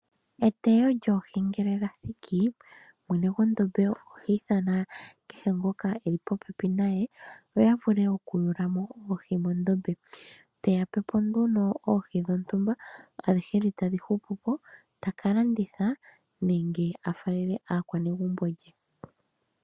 Eteyo lyoohi ngele lyathiki mwene gondombe ohi ithana kehe ngoka eli popepi naye opo ya vule okuyulamo oohi dhoka dhili mondombe. Aakwati mbano yoohi ohaya topolelwa oohi dhontumba omanga dhoka hadhi hupupo ohadhi pewa mwene gondombe.